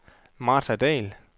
Martha Dall